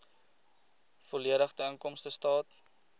volledige inkomstestaat